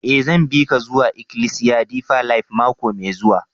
Eh, zan bi ka zuwa ikilisiya Deeper life mako mai zuwa.